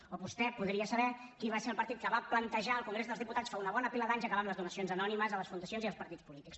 o vostè podria saber qui va ser el partit que va plantejar al congrés dels diputats fa una bona pila d’anys acabar amb les donacions anònimes a les fundacions i als partits polítics